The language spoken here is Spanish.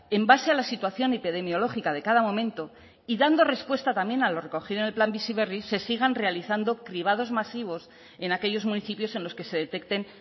en base a la situación epidemiológica de cada momento y dando respuesta también a lo recogido en el plan bizi berri se sigan realizando cribados masivos en aquellos municipios en los que se detecten